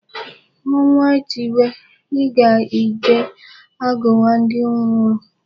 Ọnwa tiwe, ịga ije agụwa ndị ngwụrọ.